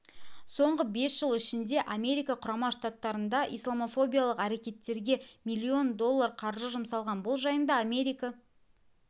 соңғы бес жыл ішінде америка құрама штаттарында исламофобиялық әрекеттерге миллион доллар қаржы жұмсалған бұл жайында америка